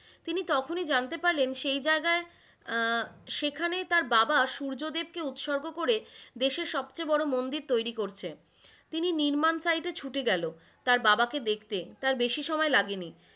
তিনি তখনই জানতে পারলেন সেই জায়গায় আহ সেইখানে তার বাবা সূর্যদেব কে উৎসর্গ করে দেশের সবচেয়ে বড় মন্দির তৈরি করছে। তিনি নির্মাণ site এ ছুটে গেল, তার বাবা কে দেখতে তার বেশি সময় লাগেনি,